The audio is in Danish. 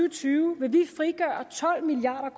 og tyve vil vi frigøre tolv milliard